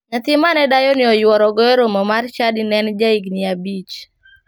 Nyathi mane dayoni oyuorogo romo mar chadi ne en ja higini abich.